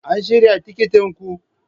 An shirya tikitin ku?